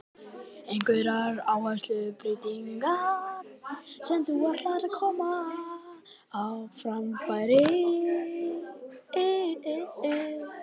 Einhverjar áherslubreytingar sem þú ætlar að koma á framfæri?